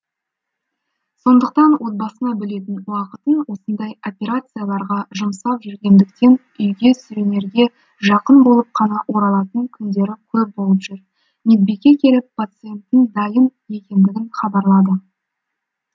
сондықтан отбасына бөлетін уақытын осындай операцияларға жұмсап жүргендіктен үйге сүрінерге жақын болып қана оралатын күндері көп болып жүр медбике келіп пациенттің дайын екендігін хабарлады